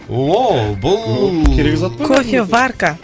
ооо бұл керек зат қой кофеварка